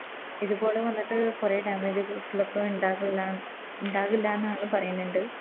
ഇതുപോലെ വന്നിട്ട് കൊറേ Damage ലോക്കെ ഉണ്ടാകുല ഉണ്ടാവൂല്ലന്നാണ് പറയ്ണ്ട്